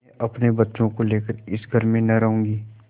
मैं अपने बच्चों को लेकर इस घर में न रहूँगी